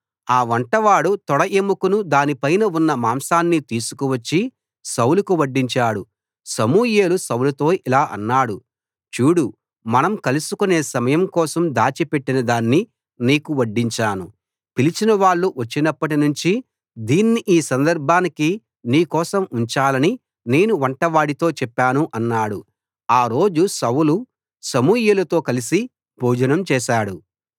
అ వంటవాడు తొడ ఎముకను దానిపైన ఉన్న మాంసాన్ని తీసుకువచ్చి సౌలుకు వడ్డించాడు సమూయేలు సౌలుతో ఇలా అన్నాడు చూడు మనం కలుసుకొనే సమయం కోసం దాచిపెట్టిన దాన్ని నీకు వడ్డించాను పిలిచిన వాళ్ళు వచ్చినప్పటినుంచి దీన్ని ఈ సందర్భానికి నీ కోసం ఉంచాలని నేను వంటవాడితో చెప్పాను అన్నాడు ఆ రోజు సౌలు సమూయేలుతో కలసి భోజనం చేశాడు